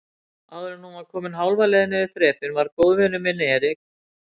Áðuren hún var komin hálfa leið niður þrepin var góðvinur minn Erik